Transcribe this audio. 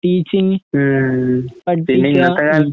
teaching പഠിപ്പിക്കുകാ